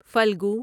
فلگو